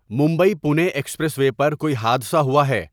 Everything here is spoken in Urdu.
ممبئی پونے ایکسپریس وے پر کوئی حادثہ ہوا ہے